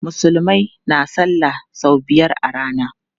Musulmai na salla sau biyar a rana.